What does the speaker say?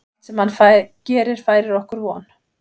Allt sem hann gerir færir okkur von.